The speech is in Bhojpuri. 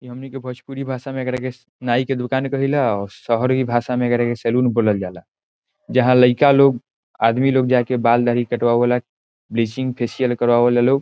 इ हमनी के भोजपुरी भाषा में एकरा के नाइ के दुकान कहिला और शहरी भाषा में एकरा के सैलून बोल्ल जाला | जहाँ लइका लोग आदमी लोग जाके बाल दाढ़ी कट वावेला बीचिंग फेसिअल करवावेला लोग |